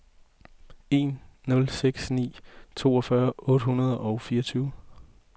en nul seks ni toogfyrre otte hundrede og fireogtyve